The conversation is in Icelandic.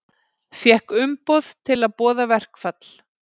Fékk umboð til að boða verkfall